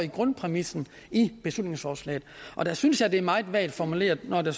grundpræmissen i beslutningsforslaget og jeg synes det er meget vagt formuleret når der